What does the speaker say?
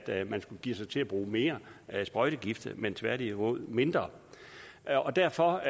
at man skulle give sig til at bruge mere sprøjtegift men tværtimod mindre og derfor